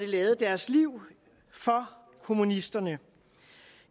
lade deres liv for kommunisterne